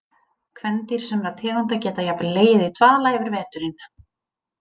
Kvendýr sumra tegunda geta jafnvel legið í dvala yfir veturinn.